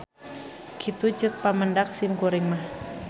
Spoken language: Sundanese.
Kitu ceuk pamendak simkuring mah.